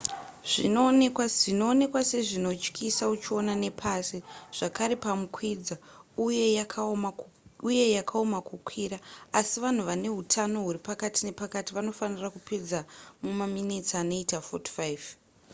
zvinoonekwa sezvinotyisa uchiona nepasi zvakare pamukwidza uye yakaoma kukwira asi vanhu vane hutano huri pakati nepakati vanofanirwa kupedza mumaminitsi anoita 45